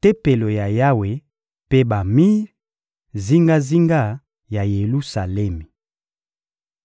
Tempelo ya Yawe mpe bamir, zingazinga ya Yelusalemi.